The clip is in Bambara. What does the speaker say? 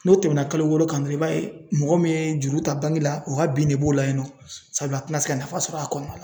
N'o tɛmɛna kalo wɔɔrɔ kan dɔrɔn i b'a ye mɔgɔ min ye juru ta la u ka bin de b'o la yen nɔ sabula a tɛna se ka nafa sɔrɔ a kɔnɔ